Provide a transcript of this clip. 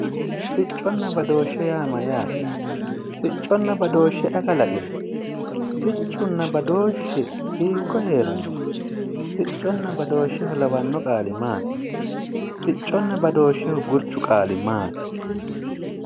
Sicconna badooshshe yaa maayate, sicconna badooshshe ayi kalaqino, siccunna badooshshu mamani heerano, sicconna badooshsheho kawano qaali maati, sicconna badooshsheho gurchu qaali maati ?